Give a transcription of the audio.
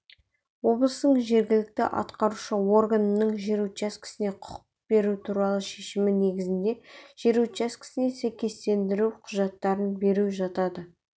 облыстың жергілікті атқарушы органының жер учаскесіне құқық беру туралы шешімі негізінде жер учаскесіне сәйкестендіру құжаттарын беру жатады